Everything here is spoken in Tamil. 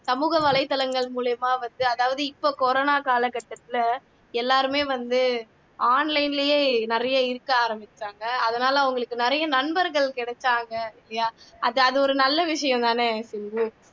சமூக வலைத்தளங்கள் மூலியமா வந்து அதாவது இப்ப கொரோனா காலகட்டத்துல எல்லாருமே வந்து online லயே நிறைய இருக்க ஆரம்பிச்சுட்டாங்க அதனால அவங்களுக்கு நிறைய நண்பர்கள் கிடைச்சாங்க அது அது ஒரு நல்ல விஷயம் தானே